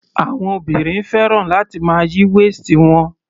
Àwọn obìnrin fẹ́ràn láti máa yí waist wọn.